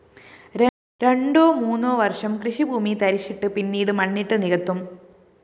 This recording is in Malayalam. രണേ്ടാ മൂന്നോ വര്‍ഷം കൃഷിഭൂമി തരിശിട്ട് പിന്നീട് മണ്ണിട്ടു നികത്തും